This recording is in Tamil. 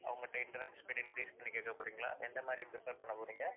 அவங்ககிட்ட internet speed increase பண்ணி கேக்கப் போறீங்களா, என்ன மாதிரி prefer பண்ணப்போறீங்க